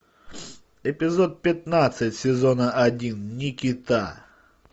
эпизод пятнадцать сезона один никита